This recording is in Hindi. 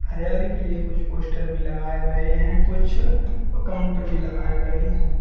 हरियाली के लिए कुछ पोस्टर भी लगाए गए हैं कुछ काउंटर भी लगाए हैं।